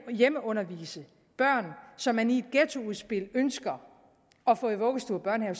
at hjemmeundervise børn som man i et ghettoudspil ønsker at få i vuggestue og børnehave